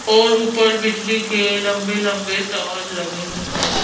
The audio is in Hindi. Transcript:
और ऊपर बिजली के लंबे-लंबे तार लगे हैं।